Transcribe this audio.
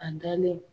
A dalen